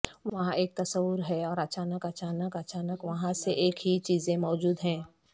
وہاں ایک تصور ہے اور اچانک اچانک اچانک وہاں سے ایک ہی چیزیں موجود ہیں